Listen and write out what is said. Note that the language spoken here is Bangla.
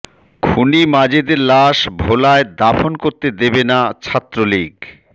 খুনি মাজেদের লাশ ভোলায় দাফন করতে দেবে না ছাত্রলীগ